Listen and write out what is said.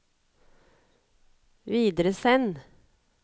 videresend